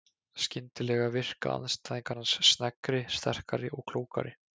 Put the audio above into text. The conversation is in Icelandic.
Skyndilega virka andstæðingar hans sneggri, sterkari og klókari.